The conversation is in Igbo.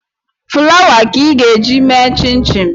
Fụlawa ka ị ga e ji eme chinchin